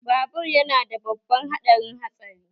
Babur yana da babban haɗarin hatsari